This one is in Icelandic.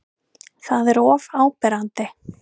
Það er of áberandi.